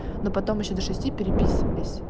но потом ещё до шести переписывались